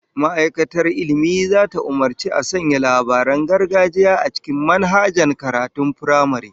Ma'aikatar Ilmi zata umurci a sanya labaran gargajiya a cikin manhajan karatun firamare